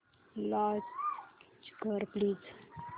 launch कर please